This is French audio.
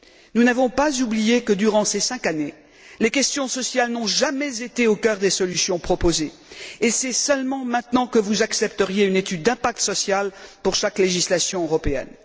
Nous n'avons pas oublié que, durant ces cinq années, les questions sociales n'ont jamais été au cœur des solutions proposées, et c'est seulement maintenant que vous accepteriez une étude d'impact social pour chaque législation européenne?